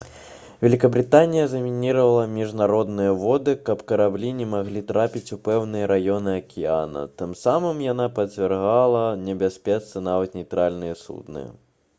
вялікабрытанія замініравала міжнародныя воды каб караблі не маглі трапіць у пэўныя раёны акіяна тым самым яна падвяргла небяспецы нават нейтральныя судны